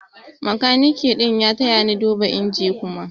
makaniki ɗin ya taya ni duba inji Kuma.